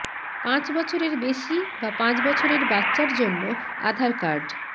পাঁচ বছরের বেশি বা পাঁচ বছরের বাচ্চার জন্য আধার কার্ড